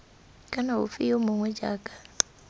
kana ofe yo mongwe jaaka